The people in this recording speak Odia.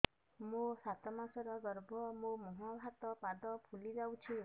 ମୋ ସାତ ମାସର ଗର୍ଭ ମୋ ମୁହଁ ହାତ ପାଦ ଫୁଲି ଯାଉଛି